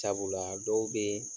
Sabula a dɔw be